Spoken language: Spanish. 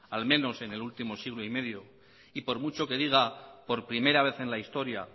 al menos en el último siglo y medio y por mucho que diga por primera vez en la historia